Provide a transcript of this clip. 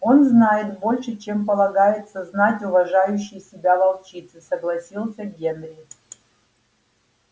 он знает больше чем полагается знать уважающей себя волчице согласился генри